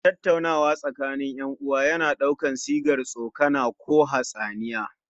Tattaunawa tsakanin 'yan uwa yana ɗaukar sigar tsokana ko hatsaniya